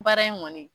Baara in kɔni